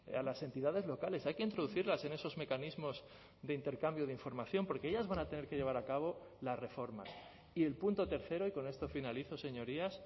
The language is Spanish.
a las entidades locales hay que introducirlas en esos mecanismos de intercambio de información porque ellas van a tener que llevar a cabo la reforma y el punto tercero y con esto finalizo señorías